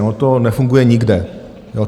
Ono to nefunguje nikde.